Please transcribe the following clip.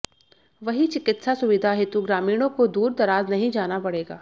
वही चिकित्सा सुविधा हेतु ग्रामीणों को दूर दराज नही जाना पडेगा